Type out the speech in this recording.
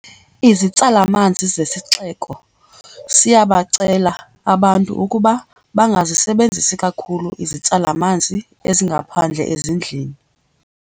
Izitsala-manzi. Isixeko siyabacela abantu ukuba bangazisebenzisi kakhulu izitsala-manzi ezingaphandle ezindlini.